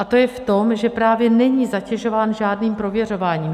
A to je v tom, že právě není zatěžován žádným prověřováním.